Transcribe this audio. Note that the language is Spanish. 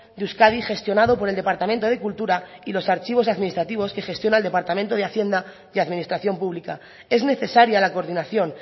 de euskadi gestionado por el departamento de cultura y los archivos administrativos que gestiona el departamento de hacienda y administración pública es necesaria la coordinación